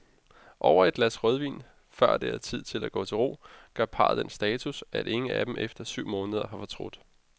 Over et glas rødvin, før det er tid at gå til ro, gør parret den status, at ingen af dem efter syv måneder har fortrudt.